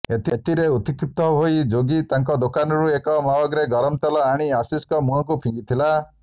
ଏଥିରେ ଉତ୍କ୍ଷିପ୍ତ ହୋଇ ଯୋଗୀ ତାଙ୍କ ଦୋକାନରୁ ଏକ ମଗ୍ରେ ଗରମ ତେଲ ଆଣି ଆଶିଷଙ୍କ ମୁହଁକୁ ଫିଙ୍ଗିଥିଲା